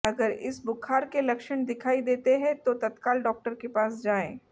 अगर इस बुखार के लक्षण दिखाई देतें हैं तो तत्काल डॉक्टर के पास जाएं